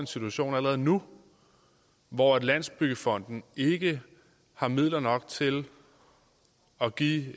situation allerede nu hvor landsbyggefonden ikke har midler nok til at give